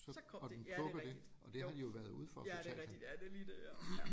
Så kom det ja det rigtigt jo ja det rigtigt ja det er lige det ja ja